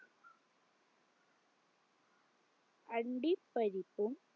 അണ്ടി പരിപ്പും